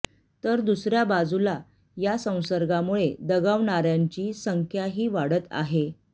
तर दुसऱ्या बाजूला या संसर्गामुळे दगावणाऱ्यांची संख्याही वाढत आहे